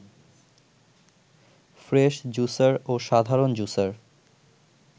fresh juicer ও সাধারণ juicer